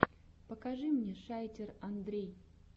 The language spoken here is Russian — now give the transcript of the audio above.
покажи мне шайтер андрей